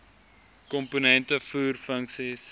komponente voer funksies